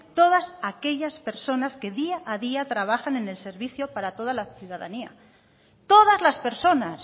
todas aquellas personas que día a día trabajan en el servicio para toda la ciudadanía todas las personas